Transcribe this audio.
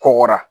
Kɔgɔra